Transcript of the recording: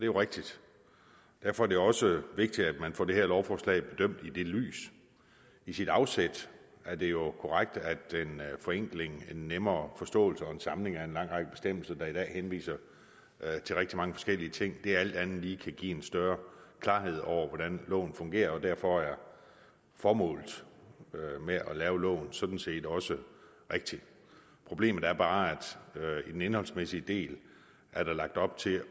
jo rigtigt derfor er det også vigtigt at man får det her lovforslag bedømt i det lys i sit afsæt er det jo korrekt at en forenkling en nemmere forståelse og en samling af en lang række bestemmelser der i dag henviser til rigtig mange forskellige ting alt andet lige kan give en større klarhed over hvordan loven fungerer og derfor er formålet med at lave loven sådan set også rigtigt problemet er bare at der i den indholdsmæssige del er lagt op til